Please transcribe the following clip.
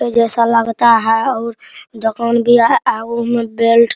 जैसा लगता है और अहूमू में बेल्ट --